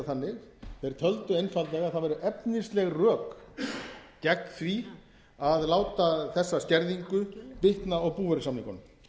þannig þeir töldu einfaldlega að það væru efnisleg rök gegn því að láta þessa skerðingu bitna á búvörusamningunum